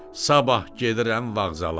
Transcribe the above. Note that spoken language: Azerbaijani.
Sabah gedirəm vağzala.